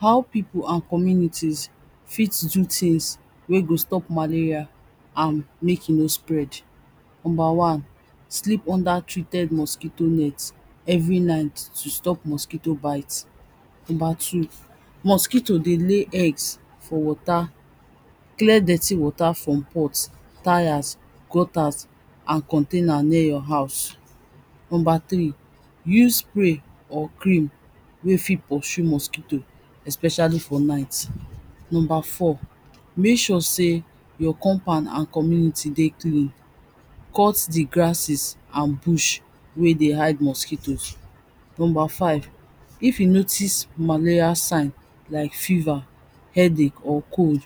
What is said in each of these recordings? How pipo and communities fit do things wey go stop malaria and mek e no spreed. Number one, sleep under treated mosquito net every night to stop mosquito bites. Number two, mosquito dey lay eggs for water, clear dirty water from pot, tyres, gutters and container near your house. Number three, use spray or cream wey fit pursue mosquito especially for night. Number four, mek sure sey your compound and community dey clean, cut di grasses and bush wey dey hid mosquitoes. Number five, if you notice malaria sign like fever, headache or cold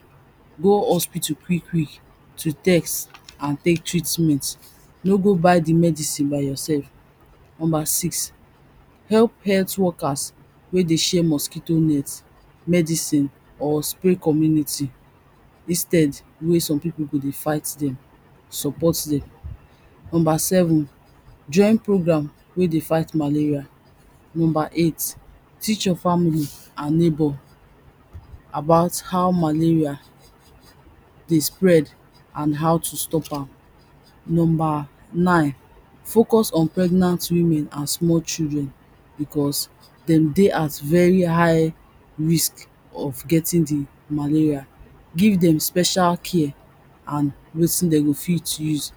go hospital quick quick to test and tek treatment no go buy di medicine by yourself. Number six, help health workers wey dey share mosquito nets, medicine or spare community instead wey some pipo do dey fight dem, support dem. Number seven, join program wey dey fight malaria. Number eight, teach all your family and neighbor about how malaria dey spread and how to stop am. Number nine, focus on pregnant women and small children becos dem dey at very high risk of getting di malaria. Give dem special care and wetin dem go fit use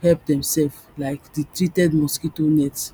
help dem sef like di treated mosquito nets.